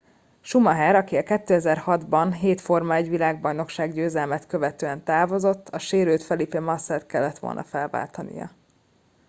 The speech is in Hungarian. schumacher aki 2006 ban hét forma-1 bajnokság győzelmet követően távozott a sérült felipe massa t kellett volna felváltania